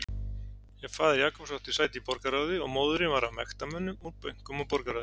Faðir Jacobs átti sæti í borgarráði og móðirin var af mektarmönnum úr bönkum og borgarráði.